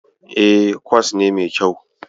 E, kwas ne mai kyau.